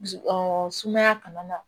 sumaya kana na